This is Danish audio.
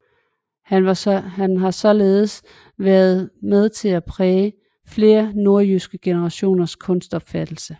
Han har således været med til at præge flere nordjyske generationers kunstopfattelse